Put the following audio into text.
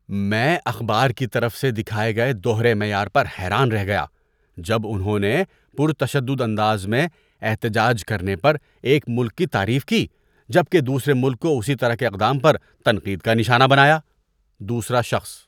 میں اخبار کی طرف سے دکھائے گئے دوہرے معیار پر حیران رہ گیا جب انہوں نے پرتشدد انداز میں احتجاج کرنے پر ایک ملک کی تعریف کی جبکہ دوسرے ملک کو اسی طرح کے اقدام پر تنقید کا نشانہ بنایا۔ (دوسرا شخص)